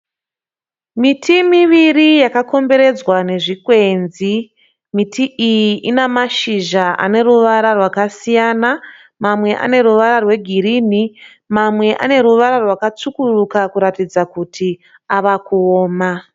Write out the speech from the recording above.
Miti miviri yakakomberedzwa nezvikwenzi. Miti iyi ina mashizha aneruvara rwakasiyana. Mamwe ane ruvara rwegirini mamwe ane ruvara rwakatsvukuruka kuratidza kuti avakuoma.